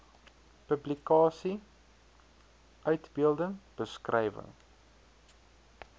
publikasie uitbeelding beskrywing